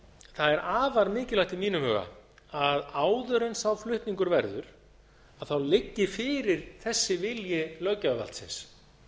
það er afar mikilvægt í mínum huga að áður en sá flutningur verður liggi fyrir þessi vilji löggjafarvaldsins